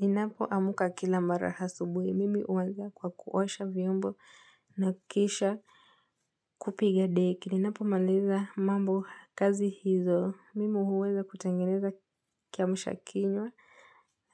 Ninapo amka kila mara asubuhi. Mimi huanza kwa kuosha vyombo na kisha kupiga deki. Ninapo maliza mambo kazi hizo. Mimi huweza kutengeneza kiamsha kinywa